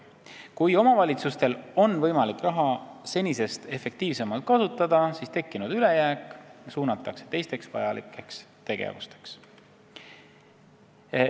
Kui omavalitsustel on võimalik raha senisest efektiivsemalt kasutada, siis tekkinud ülejääk suunatakse teisteks vajalikeks tegevusteks.